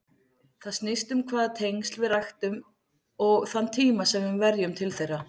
Það snýst um hvaða tengsl við ræktum og þann tíma sem við verjum til þeirra.